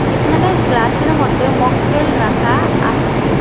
এখানে গ্লাসের মধ্যে মকটেল রাখা আছে।